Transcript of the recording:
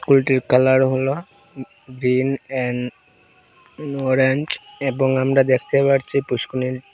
স্কুলটির কালার হল green and orange এবং আমরা দেখতে পারছি পুষ্কণির --